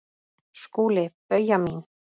SKÚLI: Bauja mín!